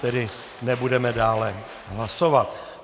Tedy nebudeme dále hlasovat.